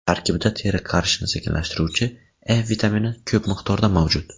Tarkibida teri qarishini sekinlashtiruvchi E vitamini ko‘p miqdorda mavjud.